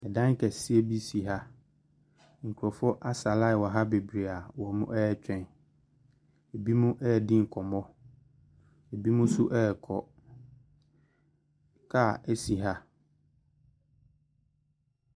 Ɛdan kɛseɛ bi si ha. Nkurɔfoɔ asa line wɔ ha bebree a wɔretwɛn, binom redi nkɔmmɔ. Binom nso rekɔ. Car si ha.